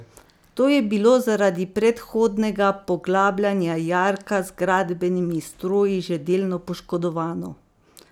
To je bilo zaradi predhodnega poglabljanja jarka z gradbenimi stroji že delno poškodovano.